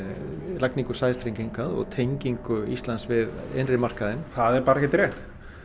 lagningu sæstrengs hingað og tengingu Íslands við innri markaðinn það er bara ekkert rétt